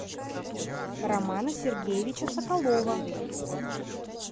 романа сергеевича соколова